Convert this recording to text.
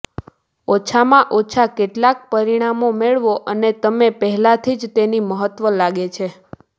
ઓછામાં ઓછા કેટલાક પરિણામો મેળવો અને તમે પહેલાથી જ તેની મહત્વ લાગે છે